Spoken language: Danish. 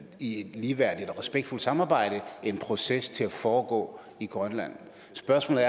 i et ligeværdigt og respektfuldt samarbejde en proces til at foregå i grønland spørgsmålet